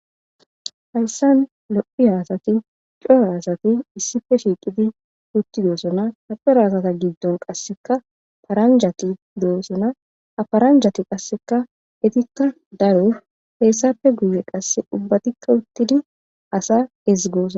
Hassan lo'iya assati coora assati issippe shiqqidi uttidossona ha coora asata giddon qasseka paranjjati dossona ha paranjjati qasseka eetika daaro hessappe guyye qasseka ubbatika uttidi asa eezigossona.